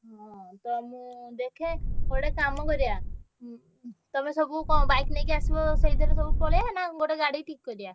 ହଁ ତ ମୁଁ ଦେ~ ଖେ~ ଗୋଟେ କାମ କରିଆ ଉଁ ଉଁ ତମେ ସବୁ କଣ bike ନେଇକି ଆସିବ ସେଇଥେରେ ସବୁ ପଳେଇଆ ନା ଗୋଟେ ଗାଡି ଠିକ୍ କରିଆ।